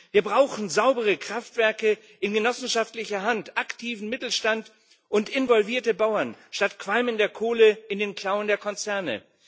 Wir brauchen saubere Kraftwerke in genossenschaftlicher Hand, aktiven Mittelstand und involvierte Bauern statt Qualm in der Kohle in den Klauen der Konzerne.